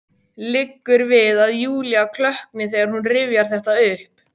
Liggur við að Júlía klökkni þegar hún rifjar þetta upp.